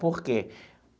Por quê?